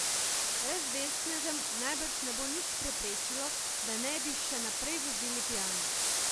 Brezvestnežem najbrž ne bo nič preprečilo, da ne bi še naprej vozili pijani.